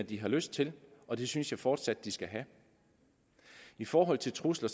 de har lyst til og det synes jeg fortsat at de skal have i forhold til trusler